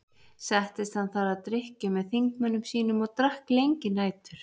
Settist hann þar að drykkju með þingmönnum sínum og drakk lengi nætur.